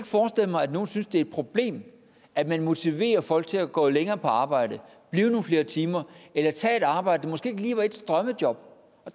forestille mig at nogen synes det er et problem at man motiverer folk til at gå længere på arbejde blive nogle flere timer eller tage et arbejde der måske ikke lige var ens drømmejob